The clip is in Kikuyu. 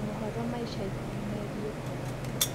mohoro ma ĩca ĩkũhĩ meegĩe ukora